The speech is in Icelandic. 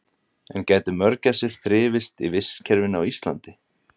en gætu mörgæsir þrifist í vistkerfinu á íslandi